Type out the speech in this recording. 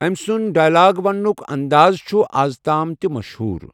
أمۍ سُنٛد ڈائیلاگ ونٕنُک انٛدازٕ چھُ آز تام تہِ مشہوٗر۔